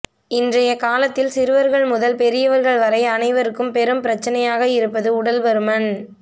இன்றைய காலத்தில் சிறுவர்கள் முதல் பெரியவர்கள் வரை அனைவருக்கும் பெரும் பிரச்சனையாக இருப்பது உடல் பருமன்